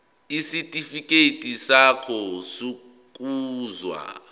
isitifikedi sakho sokuzalwa